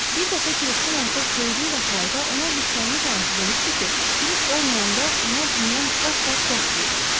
Bir dəfə Kiriskin artıq böyüdüyü vaxtlarda ona hirslənmiş anası demişdi ki, Kirisk olmayanda ona bundan qat-qat yaxşı idi.